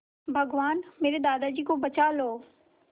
भगवान मेरे दादाजी को बचा लो